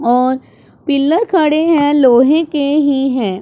और पिलर खड़े हैं लोहे के ही हैं।